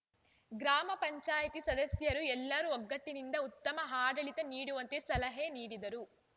ಗ್ರಾಮ ಪಂಚಾಯತಿ ಸದಸ್ಯರು ಎಲ್ಲರೂ ಒಗ್ಗಟ್ಟಿನಿಂದ ಉತ್ತಮ ಆಡಳಿತ ನೀಡುವಂತೆ ಸಲಹೆ ನೀಡಿದರು